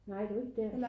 Nej det var ikke dér